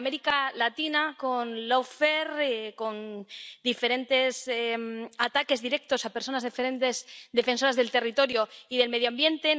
En América Latina, con lawfare con diferentes ataques directos a personas diferentes, defensoras del territorio y del medio ambiente.